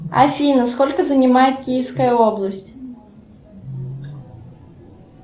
афина сколько занимает киевская область